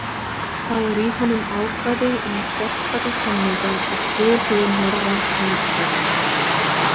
Þá er í honum ákvæði um sérstaka samninga og tilhögun norræns samstarfs